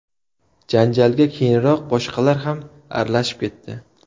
Janjalga keyinroq boshqalar ham aralashib ketdi.